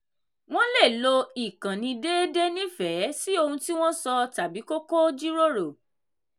wọ́n lè lo ìkànnì déédéé nífẹ̀ẹ́ sí ohun tí wọ́n sọ tàbí kókó jíròrò.